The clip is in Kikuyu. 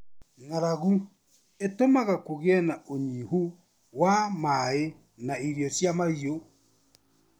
Ng'aragu ĩtũmaga kũgie na ũnyihu wa maaĩ na irio cia mahiũ.